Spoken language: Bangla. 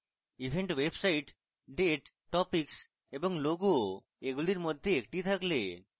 event website date topics এবং logo এগুলির মধ্যে একটি থাকলে